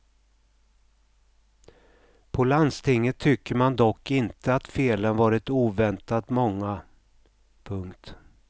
På landstinget tycker man dock inte att felen varit oväntat många. punkt